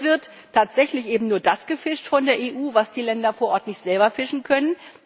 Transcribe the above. Jetzt wird tatsächlich eben nur das gefischt von der EU, was die Länder vor Ort nicht selber fischen können.